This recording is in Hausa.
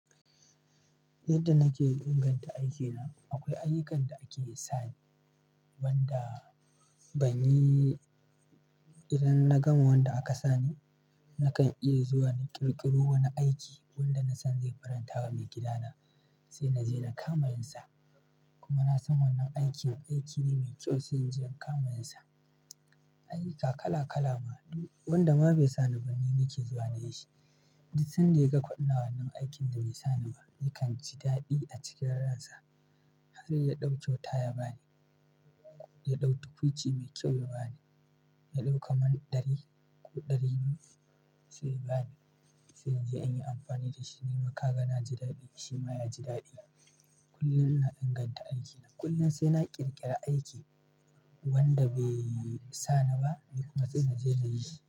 Yadda nake ingan ta aiki na, akwai ayyukan da ake sani, wanda ban yi. Idan na gama wanda aka sani, nakan ƙira zuwa na ƙirƙiro wani aiki wanda na san zai faranta wa maigida na sai na na je na kamayin sa. Kuma na san wannan aikin aiki ne mai kyau sai na je na kama yin sa. Ayyuka kala-kala ma duk wanda ma bai sa ni bani ni nake zuwa na yi shi. Duk sanda ya ga kwa ina wannan aikin da ya sa ni, yakan ji daɗi a cikin ransa. Har ya ɗau kyauta ya bani, ya ɗauki tukuci mai kyau ya bani, ya ɗauki kamar ɗari ko ɗari biyu sai ya bani, sai an yi amfani da shi. Ni ma ka ga na ji daɗi shi ma ya ji daɗi. Kullum muna inganta aikina. Kullum sai na ƙirƙira aiki, wanda bai sa ni ba, kuma sai na je na yi shi.